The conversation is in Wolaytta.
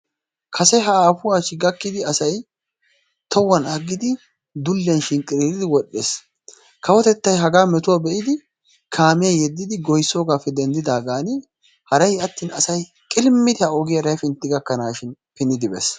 Kase aafuwaa achchi gakkidi asay tohuwan aggidi dulliyaan shinqqiriiridi wodhdhes kawotettay hagaa metuwaa be'idi kaamiyaa yeddidi goyissoogaappe denddidaagan haray attin asay qilimmidi ha ogiyaara hepintti gakkanaashin hemettidi bes.